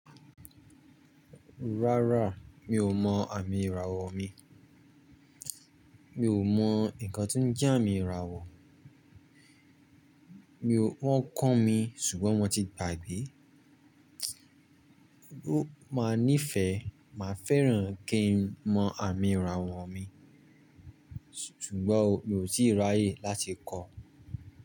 Rárá mi ò mọ àmì ìràwọ̀ mi, mi ò mọ nǹkan tí ń je amí irawọ̀. Mi ò, wọ́n kọ́ mi ṣùgbọ́n mọ́ ti gbàgbé. Ó máa nífẹ̀ẹ́, màá fẹ́ràn kí n mọ àmì ìràwọ̀ mi ṣùgbọ́n mi ò tíì ráyè láti kọ́ ọ.